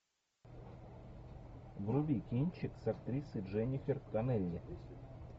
вруби кинчик с актрисой дженнифер коннелли